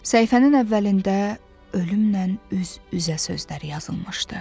Səhifənin əvvəlində ölümlə üz-üzə sözləri yazılmışdı.